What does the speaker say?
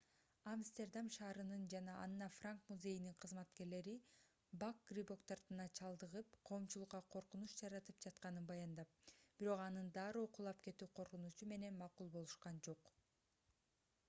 амстердам шаарынын жана анна франк музейинин кызматкерлери бак грибок дартына чалдыгып коомчулукка коркунуч жаратып жатканын баяндап бирок анын дароо кулап кетүү коркунучу менен макул болушкан жок